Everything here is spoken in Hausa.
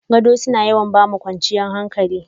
Gado suna yawan ba mu kwanciyar hankali.